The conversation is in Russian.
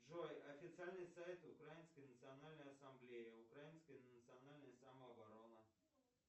джой официальный сайт украинской национальной ассамблеи украинская национальная самооборона